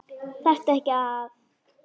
Þarftu ekki að.?